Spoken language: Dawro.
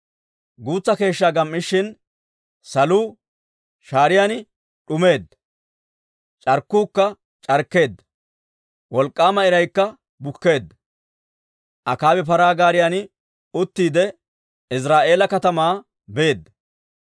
Guutsa keeshshaa gam"ishin, saluu shaariyaan d'umeedda; c'arkkuukka c'arkkeedda; wolk'k'aama iraykka bukkeedda. Akaabi paraa gaariyan uttiide Iziraa'eela katamaa beedda.